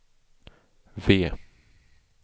V